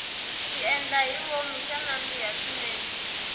xiendlahivomu xa nandzika swinene